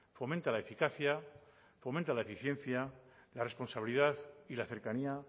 fomenta la eficacia fomenta la eficiencia la responsabilidad y la cercanía